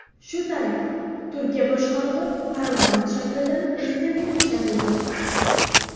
Shu tariqa, Turkiya boshqaruvi parlament shaklidan prezidentlik shakliga o‘tdi.